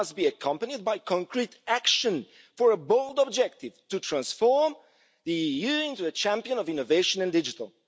It must be accompanied by concrete action for a bold objective to transform the EU into a champion of innovation in digital.